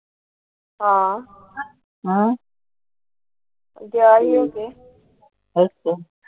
ਹਾਂ। ਅੱਗੇ ਆਇਆ ਅੱਗੇ।